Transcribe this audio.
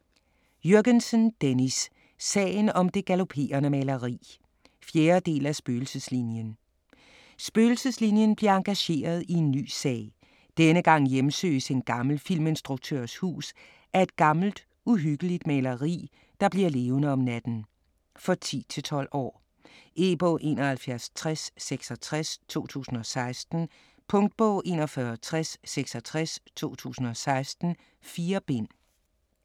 Jürgensen, Dennis: Sagen om det galoperende maleri 4. del af Spøgelseslinien. Spøgelseslinien bliver engageret i en ny sag. Denne gang hjemsøges en gammel filminstruktørs hus af et gammelt, uhyggeligt maleri, der bliver levende om natten. For 10-12 år. E-bog 716066 2016. Punktbog 416066 2016. 4 bind.